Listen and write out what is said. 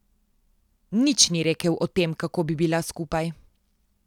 Nič ni rekel o tem, kako bi bila skupaj.